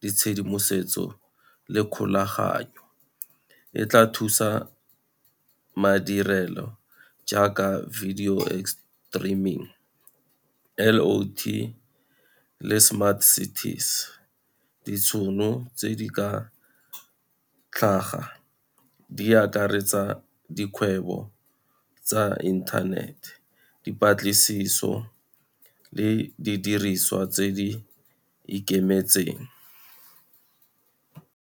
ditshedimosetso le kgolaganyo, e tla thusa madirelo jaaka video streaming, L_O_T le smart cities. Ditšhono tse di ka tlhaga, di akaretsa dikgwebo tsa internet, dipatlisiso le di diriswa tse di ikemetseng.